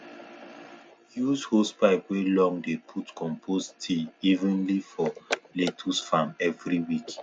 use hosepipe wey long dey put compost tea evenly for lettuce farm every week